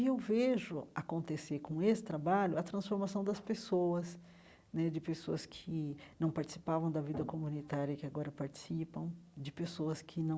E eu vejo acontecer com esse trabalho a transformação das pessoas né, de pessoas que não participavam da vida comunitária e que agora participam, de pessoas que não